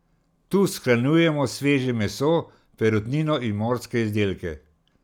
Tu shranjujemo sveže meso, perutnino in morske izdelke.